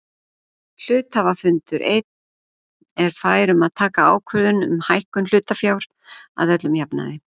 Hluthafafundur einn er fær um að taka ákvörðun um hækkun hlutafjár að öllum jafnaði.